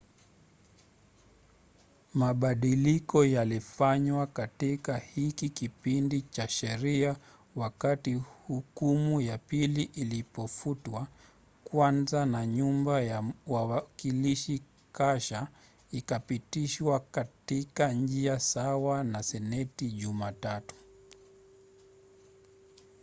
mabadiliko yalifanywa katika hiki kipindi cha sheria wakati hukumu ya pili ilipofutwa kwanza na nyumba ya wawakilishi kasha ikapitishwa katika njia sawa na seneti jumatatu